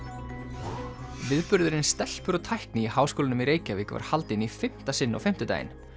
viðburðurinn stelpur og tækni í Háskólanum í Reykjavík var haldinn í fimmta sinn á fimmtudaginn